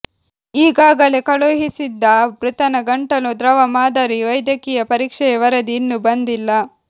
ಈಗಾಗಲೇ ಕಳುಹಿಸಿದ್ದ ಮೃತನ ಗಂಟಲು ದ್ರವ ಮಾದರಿ ವೈದ್ಯಕೀಯ ಪರೀಕ್ಷೆಯ ವರದಿ ಇನ್ನೂ ಬಂದಿಲ್ಲ